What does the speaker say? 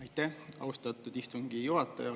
Aitäh, austatud istungi juhataja!